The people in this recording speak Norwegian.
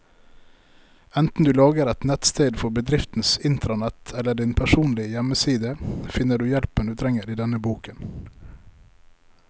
Enten du lager et nettsted for bedriftens intranett eller din personlige hjemmeside, finner du hjelpen du trenger i denne boken.